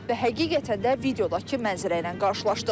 Və həqiqətən də videodakı mənzərə ilə qarşılaşdıq.